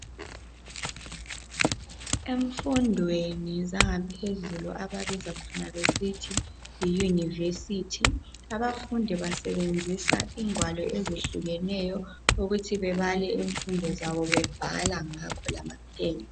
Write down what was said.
Emfundweni zangaphezulu ababiza khona besithi yiyunivesithi abafundi basebenzisa igwalo ezehlukeneyo ukuthi bebale ezifundo zabo bebhala ngakho lamapen.